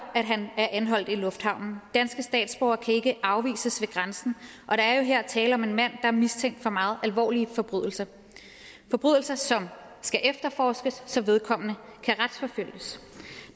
at han er anholdt i lufthavnen danske statsborgere kan ikke afvises ved grænsen og der jo her tale om en mand er mistænkt for meget alvorlige forbrydelser som skal efterforskes så vedkommende kan retsforfølges